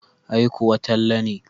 Ai kuwa Talle ne.